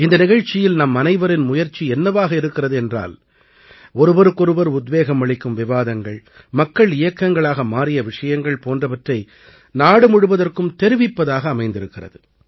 இந்த நிகழ்ச்சியில் நம்மனைவரின் முயற்சி என்னவாக இருந்திருக்கிறது என்றால் ஒருவருக்கொருவர் உத்வேகம் அளிக்கும் விவாதங்கள் மக்கள் இயக்கங்களாக மாறிய விஷயங்கள் போன்றவற்றை நாடு முழுவதற்கும் தெரிவிப்பதாக அமைந்திருக்கிறது